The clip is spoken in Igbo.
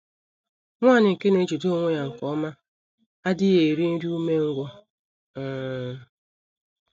Nwanyị nke na - ejide onwe ya nke ọma adịghị eri “ nri umengwụ um ”